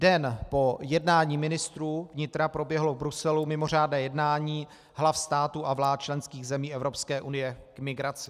Den po jednání ministrů vnitra proběhlo v Bruselu mimořádné jednání hlav států a vlád členských zemí Evropské unie k migraci.